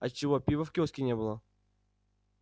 а чего пива в киоске не было